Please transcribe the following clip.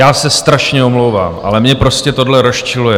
Já se strašně omlouvám, ale mě prostě tohle rozčiluje.